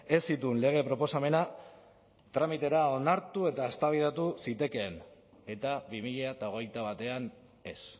ez zituen lege proposamena tramitera onartu eta eztabaidatu zitekeen eta bi mila hogeita batean ez